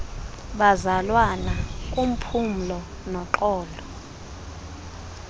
bazalwana uphumlo noxolo